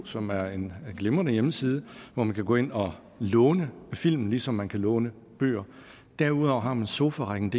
som er en glimrende hjemmeside hvor man kan gå ind og låne film ligesom man kan låne bøger derudover har man sofarækkendk